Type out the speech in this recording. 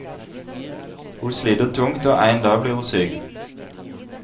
Hun sliter tungt, og en dag blir hun syk.